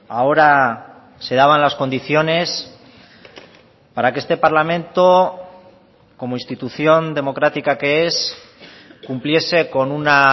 ahora se daban las condiciones para que este parlamento como institución democrática que es cumpliese con una